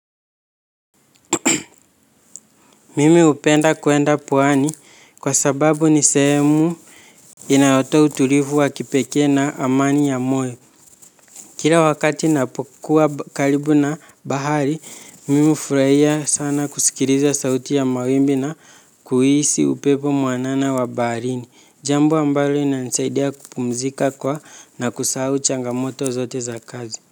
Mimi hupenda kuenda pwani kwa sababu ni sehemu inayotoa utulivu wa kipekee na amani ya moyo. Kila wakati napokuwa karibu na bahari, mimi furahia sana kusikiliza sauti ya mawimbi na kuhisi upepo mwanana wa baharini. Jambo ambalo inanisaidia kupumzika kwa na kusahau changamoto zote za kazi.